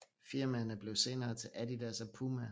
Firmaerne blev senere til Adidas og PUMA